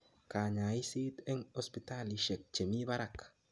Kanyaiset eng hospitalishek chemi parak